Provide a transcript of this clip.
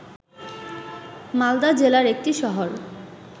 মালদা জেলার একটি শহর